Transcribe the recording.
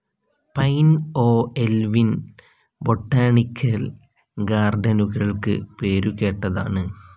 Pine ഓഹ്‌ എൽവിൻ botanical ഗാർഡനുകൾക്ക് പേരുകേട്ടതാണ്.